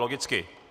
Logicky.